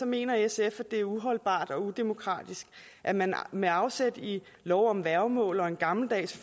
mener sf at det er uholdbart og udemokratisk at man med afsæt i lov om værgemål og en gammeldags